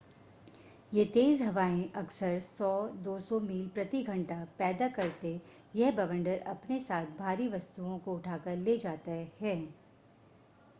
वे तेज हवायें अक्सर 100-200 मील / घंटा पैदा करते ह. यह बवंडर अपने साथ भारी वस्तुओं को उठाकर ले जाता हैं।